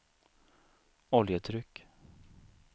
oljetryck